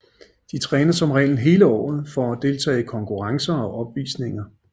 De træner som regel hele året for at deltage i konkurrencer og opvisninger